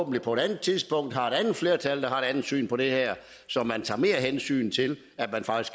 vi på et andet tidspunkt forhåbentlig har et andet flertal der har et andet syn på det her så man tager mere hensyn til